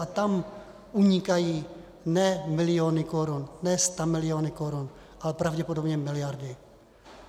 A tam unikají ne miliony korun, ne stamiliony korun, ale pravděpodobně miliardy.